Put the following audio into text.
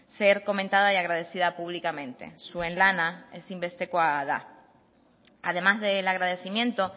ser comentada y agradecida públicamente zuen lana ezinbestekoa da además del agradecimiento